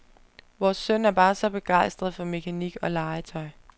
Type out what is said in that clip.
Vores søn er bare så begejstret for mekanik og legetøj.